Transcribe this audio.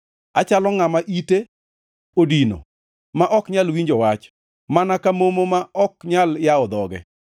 Achalo ngʼama ite odino, ma ok nyal winjo wach, mana ka momo ma ok nyal yawo dhoge;